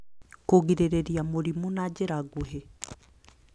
Kũgirĩrĩria mĩrimũ na njĩra nguhĩ